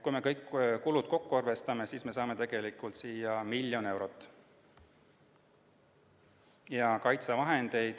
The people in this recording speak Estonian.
Kui me kõik kulud kokku arvestame, siis saame tegelikult miljon eurot.